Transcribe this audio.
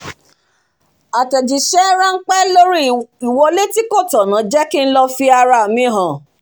àtẹ̀jísẹ́ ránpẹ́ lóri ìwolé tí kò tọ̀nà jẹ́ kí lọ̀ fi ara mi hàn